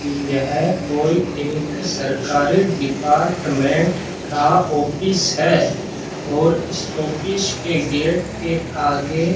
यह कोई एक सरकारी डिपार्टमेंट का ऑफिस है और इस ऑफिस के गेट के आगे --